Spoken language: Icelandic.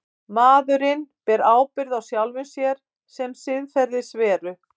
Maðurinn ber ábyrgð á sjálfum sér sem siðferðisveru.